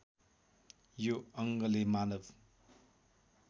यो अङ्गले मानव